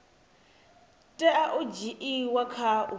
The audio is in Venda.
tea u dzhiiwa kha u